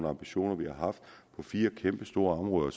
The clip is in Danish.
ambitioner på fire kæmpestore områder og